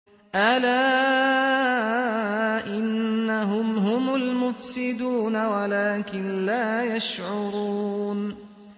أَلَا إِنَّهُمْ هُمُ الْمُفْسِدُونَ وَلَٰكِن لَّا يَشْعُرُونَ